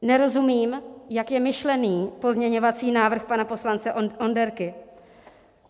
Nerozumím, jak je myšlený pozměňovací návrh pana poslance Onderky.